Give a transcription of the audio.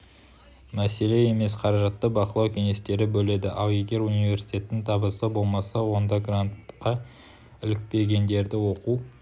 мәселе емес қаражатты бақылау кеңестері бөледі ал егер университеттің табысы болмаса онда грантқа ілікпегендерді оқу